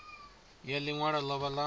ya ḽi ṅwalo ḽavho ḽa